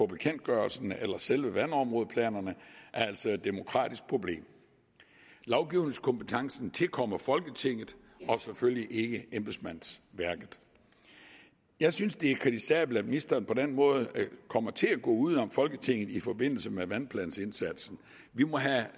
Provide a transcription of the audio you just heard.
bekendtgørelserne eller selve vandområdeplanerne er altså et demokratisk problem lovgivningskompetencen tilkommer folketinget og selvfølgelig ikke embedsmandsværket jeg synes det er kritisabelt at ministeren på den måde kommer til at gå uden om folketinget i forbindelse med vandplansindsatsen vi må have